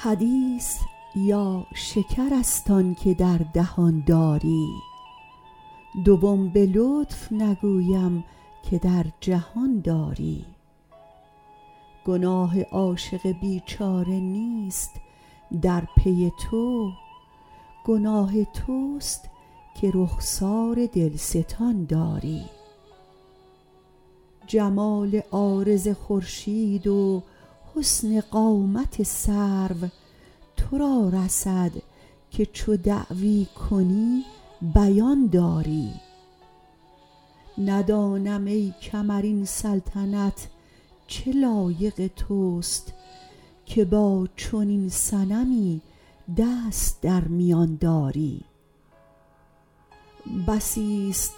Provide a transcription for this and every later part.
حدیث یا شکر است آن که در دهان داری دوم به لطف نگویم که در جهان داری گناه عاشق بیچاره نیست در پی تو گناه توست که رخسار دلستان داری جمال عارض خورشید و حسن قامت سرو تو را رسد که چو دعوی کنی بیان داری ندانم ای کمر این سلطنت چه لایق توست که با چنین صنمی دست در میان داری بسیست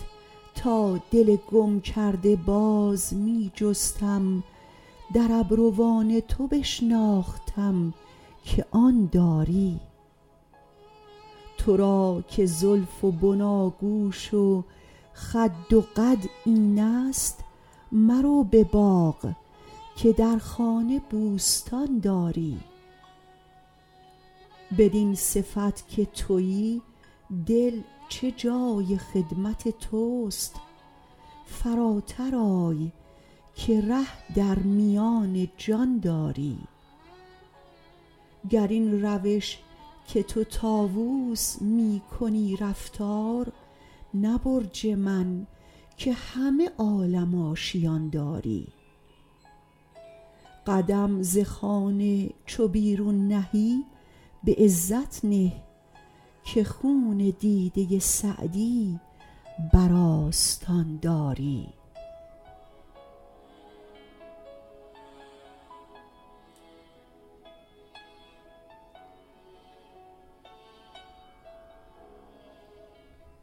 تا دل گم کرده باز می جستم در ابروان تو بشناختم که آن داری تو را که زلف و بناگوش و خد و قد اینست مرو به باغ که در خانه بوستان داری بدین صفت که تویی دل چه جای خدمت توست فراتر آی که ره در میان جان داری گر این روش که تو طاووس می کنی رفتار نه برج من که همه عالم آشیان داری قدم ز خانه چو بیرون نهی به عزت نه که خون دیده سعدی بر آستان داری